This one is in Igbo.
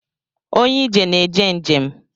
Onye ije na-eje njem